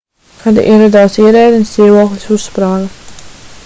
kad ieradās ierēdnis dzīvoklis uzsprāga